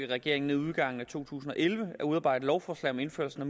regeringen inden udgangen af to tusind og elleve at udarbejde et lovforslag om indførelse af